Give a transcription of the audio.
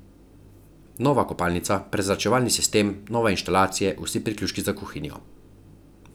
Nova kopalnica, prezračevalni sistem, nove inštalacije, vsi priključki za kuhinjo.